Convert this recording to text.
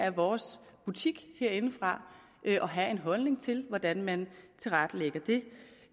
af vores butik herindefra at have en holdning til hvordan man tilrettelægger